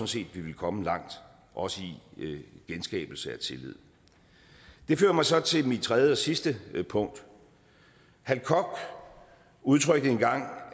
set at vi ville komme langt også i genskabelse af tillid det fører mig så til mit tredje og sidste punkt hal koch udtrykte en gang